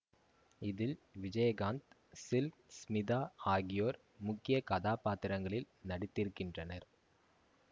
இதில் விஜயகாந்த் சில்க் ஸ்மிதா ஆகியோர் முக்கிய கதாபாத்திரங்களில் நடித்திருக்கின்றனர்